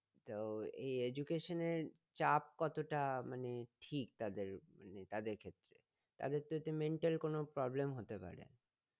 তো এই education এর চাপ কতটা মানে ঠিক তাদের মানে তাদের ক্ষেত্রে? তাদের তো এতে mental কোনো problem হতে পারে।